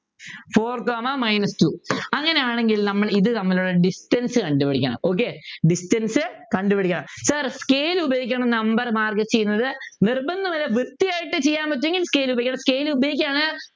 four comma minus two അങ്ങനെയാണെങ്കിൽ നമ്മൾ ഇത് തമ്മിലുള്ള Distance കണ്ടുപിടിക്കണം okay Distance കണ്ടുപിടിക്കണം sir scale ഉപയോഗിക്കാതെ number mark ചെയ്യുന്നത് നിർബന്ധമില്ല വൃത്തിയായിട്ടു ചെയ്യാൻ പറ്റുമെങ്കിൽ scale ഉപയോഗിക്കേണ്ട scale ഉപയോഗിക്കാൻ